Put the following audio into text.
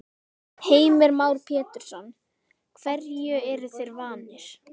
Heimir Már Pétursson: Hverju eru þeir vanir?